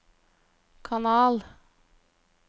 kanal